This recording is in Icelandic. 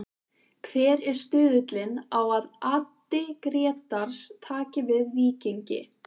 Hver er stuðullinn á að Addi Grétars taki við Víkingi?